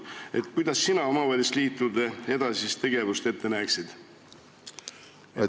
Millisena sina omavalitsusliitude edasist tegevust ette näeksid?